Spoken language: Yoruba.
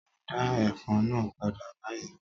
Dá ẹfun náà padà báyìí!